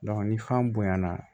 ni fan bonyana